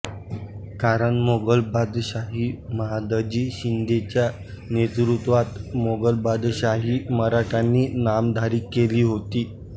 कारण मोगल बादशाही महादजी शिंदेंच्या नेतृत्वात मोगलबादशाही मराठ्यांनी नामधारी केली होती